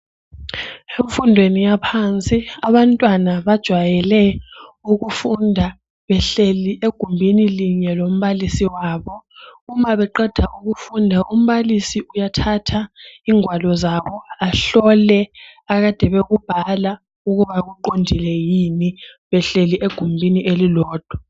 emfundweni yaphansi abanwana bajayele ukufunda behlabela egumbini linye lombalisi wabo nxa sebeqedile ukufunda umbalisi uyathatha ngwalo ahlole akade bekubhala uuba kuqodile yini behleli egumbini elilodwa